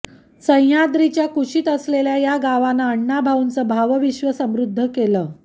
सह्याद्रीच्या कुशीत असलेल्या या गावानं अण्णा भाऊंचं भावविश्व समृद्ध केलं